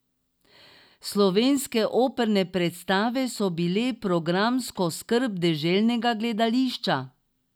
Slovenske operne predstave so bile programsko skrb deželnega gledališča.